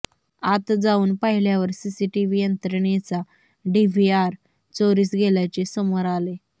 आत जाऊन पाहिल्यावर सीसीटीव्ही यंत्रणेचा डिव्हीआर चोरीस गेल्याचे समोर आले